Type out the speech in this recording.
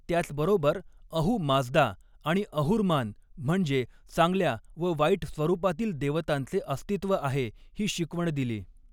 त्याचबरोबर अहू माझदा आणि अहुरमान म्हणजे चांगल्या व वाईट स्वरूपातील देवतांचे अस्तित्व आहे ही शिकवण दिली.